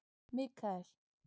Mikael